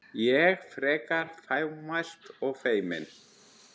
Ég, frekar fámælt og feimin.